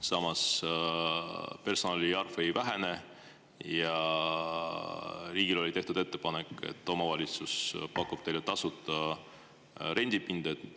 Samas, personali arv ei vähene ja riigile oli tehtud ettepanek, et omavalitsus pakub teile tasuta rendipinda.